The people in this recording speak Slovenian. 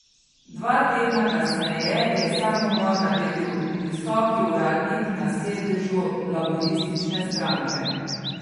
Dva tedna kasneje je samomor naredil visoki uradnik na sedežu laburistične stranke.